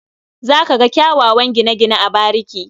Za ka ga kyawawan gine-gine a bariki.